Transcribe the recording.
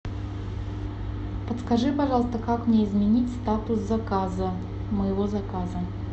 подскажи пожалуйста как мне изменить статус заказа моего заказа